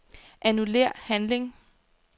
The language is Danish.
Annullér handling.